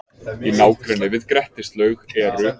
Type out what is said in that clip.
Í nágrenni við Grettislaug eru